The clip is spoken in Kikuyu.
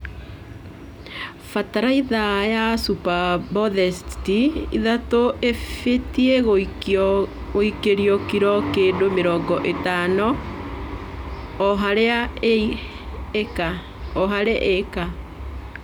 Bataraitha ya supabosbeti ithatũ ĩbztie gũĩkĩrwo kilo kĩndũ mĩrongo ĩtano o harĩ ĩka.